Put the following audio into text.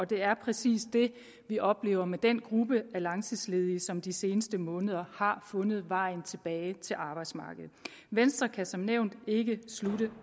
det er præcis det vi oplever med den gruppe af langtidsledige som de seneste måneder har fundet vejen tilbage til arbejdsmarkedet venstre kan som nævnt ikke